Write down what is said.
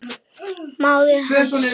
Móðir hans!